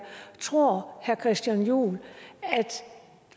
tror herre christian juhl at